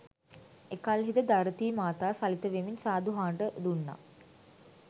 එකල්හි ද ධරතී මාතා සලිත වෙමින් සාදු හඬ දුන්නා